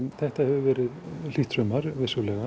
þetta hefur verið hlýtt sumar vissulega